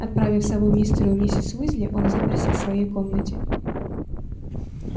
отправив сову мистеру и миссис уизли он заперся в своей комнате